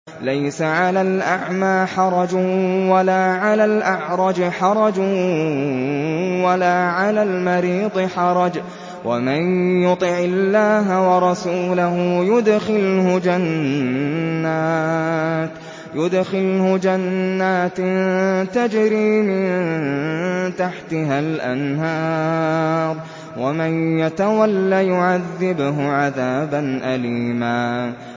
لَّيْسَ عَلَى الْأَعْمَىٰ حَرَجٌ وَلَا عَلَى الْأَعْرَجِ حَرَجٌ وَلَا عَلَى الْمَرِيضِ حَرَجٌ ۗ وَمَن يُطِعِ اللَّهَ وَرَسُولَهُ يُدْخِلْهُ جَنَّاتٍ تَجْرِي مِن تَحْتِهَا الْأَنْهَارُ ۖ وَمَن يَتَوَلَّ يُعَذِّبْهُ عَذَابًا أَلِيمًا